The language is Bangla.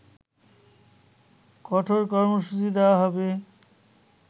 কঠোর কর্মসূচি দেয়া হবে